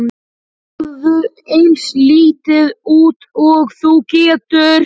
Sporaðu eins lítið út og þú getur.